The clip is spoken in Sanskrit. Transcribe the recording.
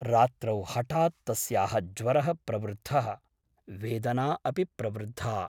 रात्रौ हठात् तस्याः ज्वरः प्रवृद्धः , वेदना अपि प्रवृद्धा ।